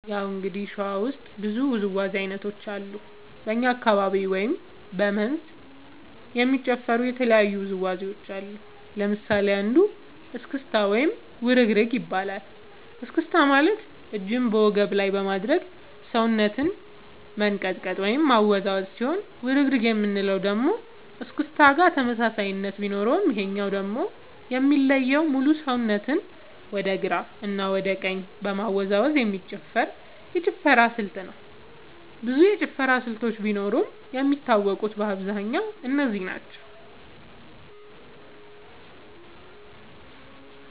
ያው እንግዲህ ሸዋ ውስጥ ብዙ ውዝዋዜ ዐይነቶች አሉ በኛ አካባቢ ወይም በ መንዝ የሚጨፈሩ የተለያዩ ውዝዋዜዎች አሉ ለምሳሌ አንዱ እስክታ ወይም ውርግርግ ይባላል እስክስታ ማለት እጅን በወገብ ላይ በማድረግ ሰውነትን መንቀጥቀጥ ወይም ማወዛወዝ ሲሆን ውርግርግ የምንለው ደግሞ እስክስታ ጋር ተመሳሳይነት ቢኖረውም ይሄኛው ደግሞ የሚለየው ሙሉ ሰውነትን ወደ ግራ እና ወደ ቀኝ በመወዛወዝ የሚጨፈር የጭፈራ ስልጠና ብዙ የጭፈራ ስልቶች ቢኖርም የሚታወቁት በአብዛኛው እነዚህ ናቸው።